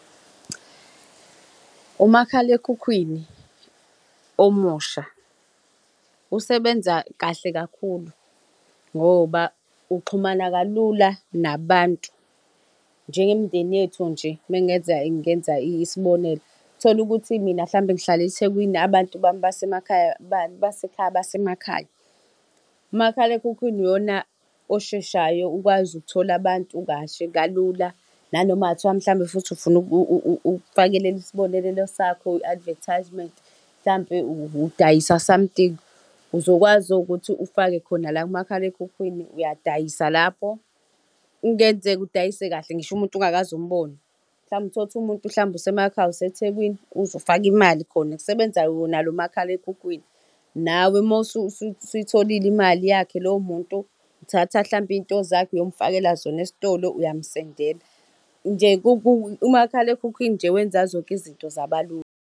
Umakhalekhukhwini omusha usebenza kahle kakhulu, ngoba uxhumana kalula nabantu. Njengemindeni yethu njeuma ngenza ngenza isibonelo, uthole ukuthi mina hlampe ngihlala eThekwini abantu bami basemakhaya basekhaya basemakhaya. Umakhalekhukhwini iwona osheshayo ukwazi ukuthola abantu kahle kalula nanoma kungathiwa hlampe futhi ufuna ukufakelela isibonelelo sakho, i-advertisement, mhlampe udayisa something, uzokwazi ukuthi ufake khona la kumakhalekhukhwini, uyadayisa lapho. Kungenzeka udayise kahle ngisho umuntu ungakaze umbone. Hlampe utholukuthi umuntu mhlawumbe usemakhaya useThekwini, ufaka imali khona kusebenza wona lo makhalaekhukhwini. Nawe mawu suyitholile imali yakhe lowo muntu uthatha hlampe iy'nto zakhe uyomufakela zona esitolo, uyamsendela. Nje umakhalekhukhwini nje wenza zonke izinto zabalula.